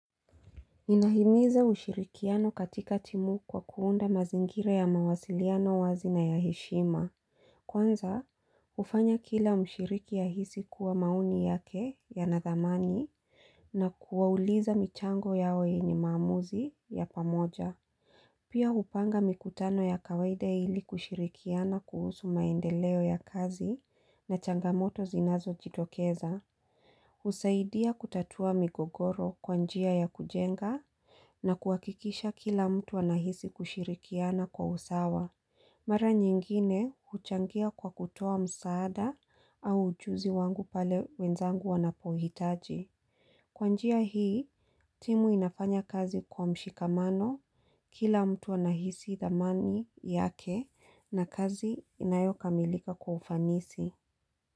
Inahimiza ushirikiano katika timu kwa kuunda mazingira ya mawasiliano wazi na ya heshima. Kwanza, hufanya kila mshiriki ahisi kuwa maoni yake yanathamani na kuwauliza michango yao yenye maamuzi ya pamoja. Pia hupanga mikutano ya kawaida hili kushirikiana kuhusu maendeleo ya kazi na changamoto zinazojitokeza. Husaidia kutatua migogoro kwa njia ya kujenga na kuakikisha kila mtu anahisi kushirikiana kwa usawa. Mara nyingine huchangia kwa kutoa msaada au ujuzi wangu pale wenzangu wanapohitaji. Kwa njia hii, timu inafanya kazi kwa mshikamano. Kila mtu anahisi dhamani yake na kazi inayokamilika kwa ufanisi.